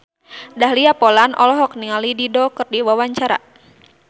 Dahlia Poland olohok ningali Dido keur diwawancara